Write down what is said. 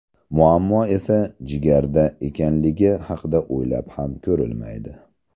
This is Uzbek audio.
Muammo esa jigarda ekanligi haqida o‘ylab ham ko‘rilmaydi.